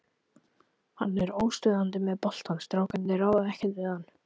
Hann er óstöðvandi með boltann, strákarnir ráða ekkert við hann.